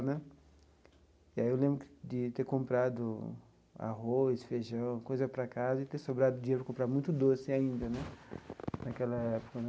Né e aí eu lembro de ter comprado arroz, feijão, coisa para casa e ter sobrado dinheiro para comprar muito doce ainda né naquela época né.